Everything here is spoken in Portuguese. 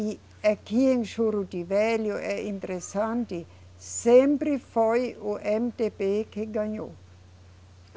E aqui em Juro de Velho é interessante, sempre foi o Emedêbê que ganhou.